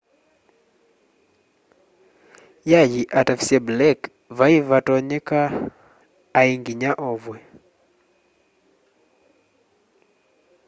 y'ay'i atavisye blake vai vatatonyeka ai nginya ovwe